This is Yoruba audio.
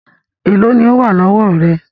Èló ni ó wà lọ́wọ́ rẹ?